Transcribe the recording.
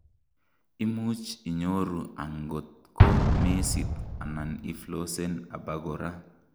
imuch inyoru angot ko mesit anan iflossen abakora